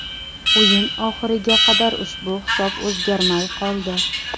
O‘yin oxiriga qadar ushbu hisob o‘zgarmay qoldi.